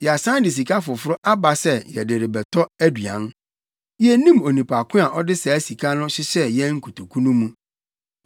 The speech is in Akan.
Yɛasan de sika foforo aba sɛ yɛde rebɛtɔ aduan. Yennim onipa ko a ɔde saa sika no hyehyɛɛ yɛn nkotoku no mu.”